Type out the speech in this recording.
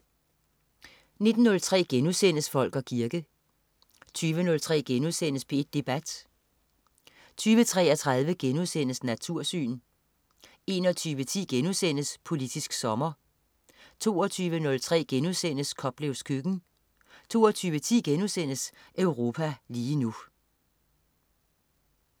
19.03 Folk og kirke* 20.03 P1 Debat* 20.33 Natursyn* 21.10 Politisk sommer* 22.03 Koplevs køkken* 22.10 Europa lige nu*